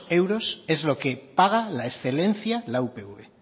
euros es lo que paga la excelencia la upv